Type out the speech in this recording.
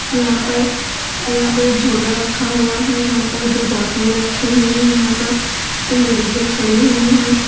यहां पर यहां पे एक झोला रखा हुआ है यहां पर दो बोतले रखी हुई हैं यहां पर कुछ लेडिजे खड़ी हुई हैं।